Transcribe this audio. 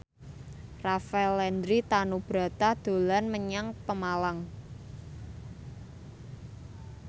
Rafael Landry Tanubrata dolan menyang Pemalang